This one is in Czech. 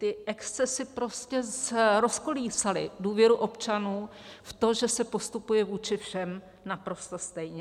Ty excesy prostě rozkolísaly důvěru občanů v to, že se postupuje vůči všem naprosto stejně.